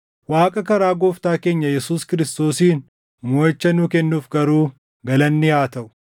Waaqa karaa Gooftaa keenya Yesuus Kiristoosiin moʼicha nuu kennuuf garuu galanni haa taʼu!